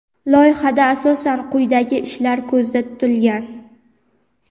Loyihada asosan quyidagi ishlar ko‘zda tutilgan:.